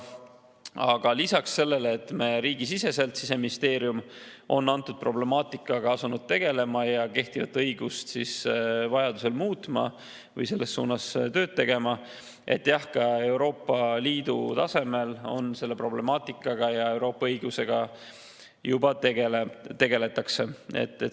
Aga lisaks sellele, et Siseministeerium on riigisiseselt antud problemaatikaga asunud tegelema ja kehtivat õigust muutma või selles suunas tööd tegema, tõesti, jah, ka Euroopa Liidu tasemel selle problemaatikaga, sealhulgas Euroopa Liidu õigusega, juba tegeldakse.